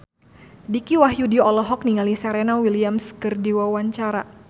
Dicky Wahyudi olohok ningali Serena Williams keur diwawancara